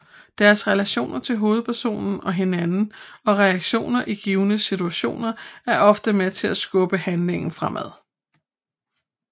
Deres relationer til hovedpersonen og hinanden og reaktioner i givne situationer er ofte med til at skubbe handlingen fremad